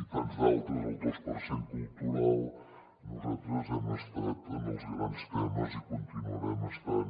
i tants d’altres el dos per cent cultural nosaltres hem estat en els grans temes i hi continuarem estant